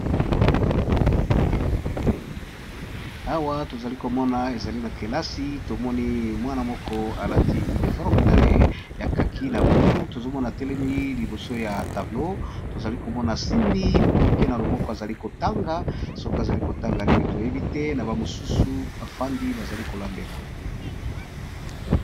Awa tozali komona ezali na kelasi tomoni mwana moko alati uniforme naye ya kaki na bululu tozomona telemi liboso ya tablo tozali komona simbi papie na loboko azali kotanga soki azali kotanga nini toyebi te na bamosusu bafandi bazali kolandela